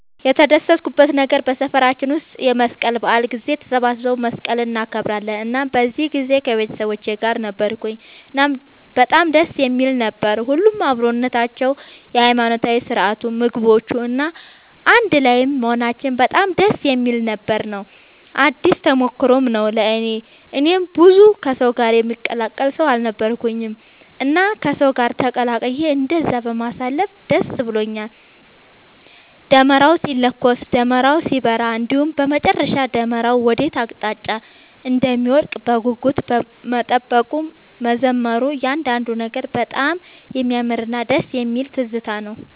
የተደሰትኩበት ነገር በሰፈራችን ውስጥ የመስቀል በዓል ጊዜ ተሰባስበው መስቀልን እናከብራለን እናም በዚህ ጊዜ ከቤተሰቦቼ ጋር ነበርኩኝ እናም በጣም ደስ የሚል ነበር። ሁሉም አብሮነታቸው፣ የሃይማኖታዊ ስርዓቱ፣ ምግቦቹ፣ እና አንድ ላይም መሆናችን በጣም ደስ የሚል ነበር ነው። አዲስ ተሞክሮም ነው ለእኔ። እኔ ብዙም ከሰው ጋር የምቀላቀል ሰው አልነበርኩኝም እና ከሰው ጋር ተቀላቅዬ እንደዛ በማሳለፌ ደስ ብሎኛል። ደመራው ሲለኮስ፣ ደመራው ሲበራ እንዲሁም በመጨረሻ ደመራው ወዴት አቅጣጫ እንደሚወድቅ በጉጉት መጠበቁ፣ መዘመሩ እያንዳንዱ ነገር በጣም የሚያምርና ደስ የሚል ትዝታ ነው።